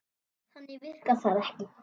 Þannig virkar það ekki.